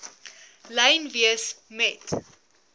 lyn wees met